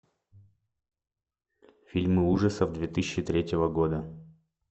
фильмы ужасов две тысячи третьего года